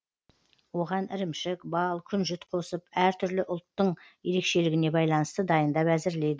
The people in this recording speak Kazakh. оған ірімшік бал күнжіт қосып әртүрлі ұлттың ерекшелігіне байланысты дайындап әзірлейді